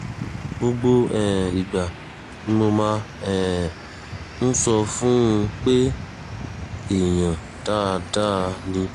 gbogbo um ìgbà ni mo máa um ń sọ fún un pé èèyàn dáadáa ni